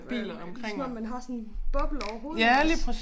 Øh ligesom om man har sådan boble over hovedet iggås